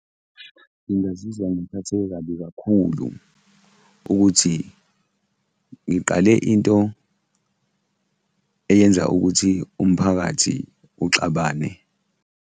Ngingazizwa ngiphatheke kabi kakhulu ukuthi ngiqale into eyenza ukuthi umphakathi uxabane.